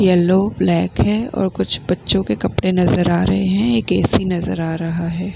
Yellow black हैऔर कुछ बच्चों के कपड़े नजर आ रहे हैं एक ऐ.सी. नजर आ रहा है।